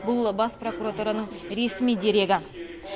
бұл бас прокуратураның ресми дерегі